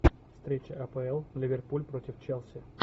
встреча апл ливерпуль против челси